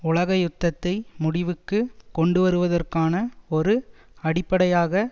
உலகயுத்தத்தை முடிவுக்கு கொண்டுவருவதற்கானஒரு அடிப்படையாக